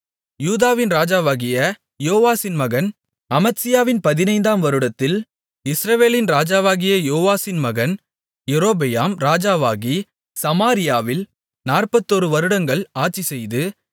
யூதாவின் ராஜாவாகிய யோவாசின் மகன் அமத்சியாவின் பதினைந்தாம் வருடத்தில் இஸ்ரவேலின் ராஜாவாகிய யோவாசின் மகன் யெரொபெயாம் ராஜாவாகி சமாரியாவில் நாற்பத்தொரு வருடங்கள் ஆட்சிசெய்து